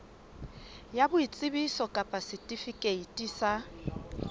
ya boitsebiso kapa setifikeiti sa